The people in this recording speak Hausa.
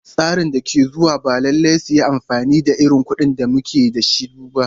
Tsaran da ke zuwa ba lallai su yi amfani da irin kuɗin da muke da su ba.